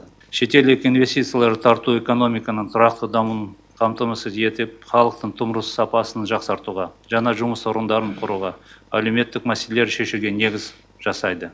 шетелдік инвестицияларды тарту экономиканың тұрақты дамуын қамтамасыз етіп халықтың тұрмыс сапасын жақсартуға жаңа жұмыс орындарын құруға әлеуметтік мәселелерді шешуге негіз жасайды